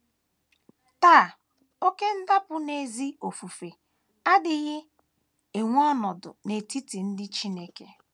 Taa, oké ndapụ n’ezi ofufe adịghị ewere ọnọdụ n’etiti ndị Chineke.